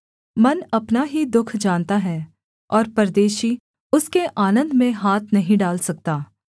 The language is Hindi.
मन अपना ही दुःख जानता है और परदेशी उसके आनन्द में हाथ नहीं डाल सकता